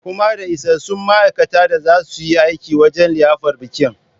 Kuma da isassun ma'aikata da za su yi aiki wajan liyafar bikin?